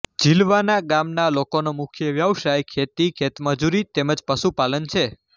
ઝીલવાના ગામના લોકોનો મુખ્ય વ્યવસાય ખેતી ખેતમજૂરી તેમ જ પશુપાલન છે